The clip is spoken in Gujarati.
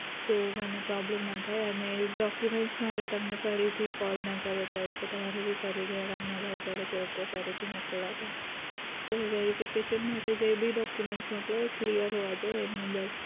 so મને problem ના થાય અને document માટે તમને ફરીથી call ન કરવો પડે કે તમારે ફરીથી હેરાન ના થાવું પડે કે okay ફરીથી મોકલવા પડશે verification માટે જે ભી document મોકલો એ clear હોવા જોઈ એમનું બસ